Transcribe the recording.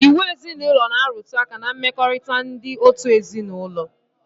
Iwu ezinaụlọ na-arụtụ aka ná mmekọrịta ndị òtù ezinaụlọ